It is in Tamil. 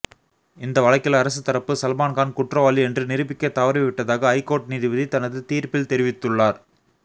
இந்த வழக்கில் அரசு தரப்பு சல்மான்கான் குற்றவாளி என்று நிரூபிக்க தவறிவிட்டதாக ஐகோர்ட் நீதிபதி தனது தீர்ப்பில் தெரிவித்துள்ளார்